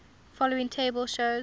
following table shows